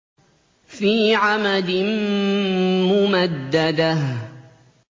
فِي عَمَدٍ مُّمَدَّدَةٍ